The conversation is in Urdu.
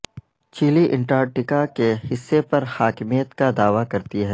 چلی انٹارکٹیکا کے حصے پر حاکمیت کا دعوی کرتی ہے